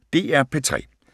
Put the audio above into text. DR P3